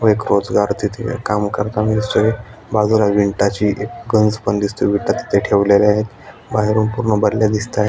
ब एक रोजगार तेथे काम करतानी दिसतोय बाजुला विंटाची एक गंझ पण दिसतेय विठा तेथे ठेवलेल्या आहेत बाहेरुन पुर्ण भरलेला दिसता --